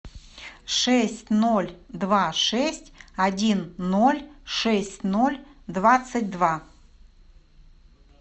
шесть ноль два шесть один ноль шесть ноль двадцать два